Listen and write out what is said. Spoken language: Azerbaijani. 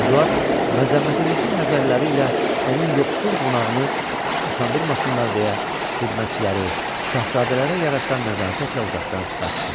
Eduard məzəmmətedici nəzərləri ilə onun yoxsul qonağını utandırmasınlar deyə, xidmətçiləri şahzadələrə yaraşan nəzakətlə otaqdan çıxartdı.